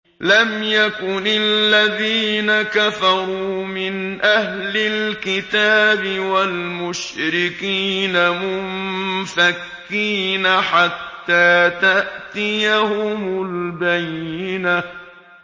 لَمْ يَكُنِ الَّذِينَ كَفَرُوا مِنْ أَهْلِ الْكِتَابِ وَالْمُشْرِكِينَ مُنفَكِّينَ حَتَّىٰ تَأْتِيَهُمُ الْبَيِّنَةُ